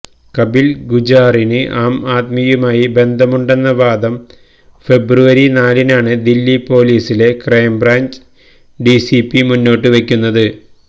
കപില് ഗുജ്ജാറിന് ആം ആദ്മിയുമായി ബന്ധമുണ്ടെന്ന വാദം ഫെബ്രുവരി നാലിനാണ് ദില്ലി പോലീസിലെ ക്രൈം ബ്രാഞ്ച് ഡിസിപി മുന്നോട്ടുവെക്കുന്നത്